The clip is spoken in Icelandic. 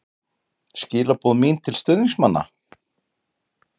Skilaboð mín til stuðningsmanna?